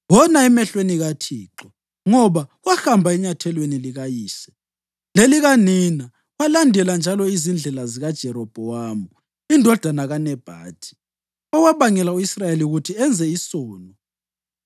Wona emehlweni kaThixo, ngoba wahamba enyathelweni likayise lelikanina walandela njalo izindlela zikaJerobhowamu indodana kaNebhathi, owabangela u-Israyeli ukuthi enze isono.